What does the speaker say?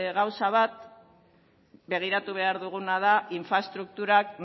gauza bat begiratu behar duguna da infraestrukturak